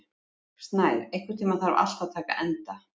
Snær, einhvern tímann þarf allt að taka enda.